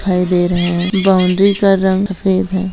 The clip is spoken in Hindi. दिखाई दे रहा है बाउंड्री का रंग सफेद है।